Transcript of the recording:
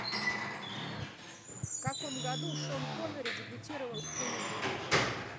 в каком году шон коннери дебютировал в кино